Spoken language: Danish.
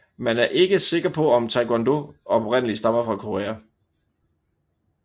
Man er ikke sikker på om Taekwondo oprindeligt stammer fra Korea